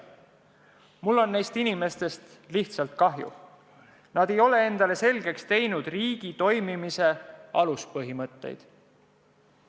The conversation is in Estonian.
Mul on nendest inimestest lihtsalt kahju, nad ei ole endale selgeks teinud riigi toimimise aluspõhimõtteid.